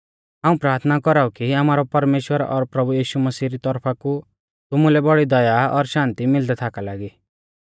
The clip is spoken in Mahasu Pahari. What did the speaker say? हाऊं प्राथना कौराऊ कि आमारौ परमेश्‍वर और प्रभु यीशु मसीह री तौरफा कु तुमुलै बौड़ी दया और शान्ति मिलदै थाका लागी